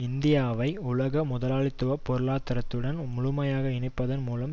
இந்தியாவை உலக முதலாளித்துவ பொருளாதரத்துடன் முழுமையாக இணைப்பதன் மூலமும்